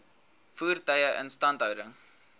voertuie instandhouding